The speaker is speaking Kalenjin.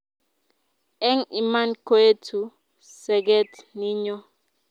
Eng' iman koetu seget ninyo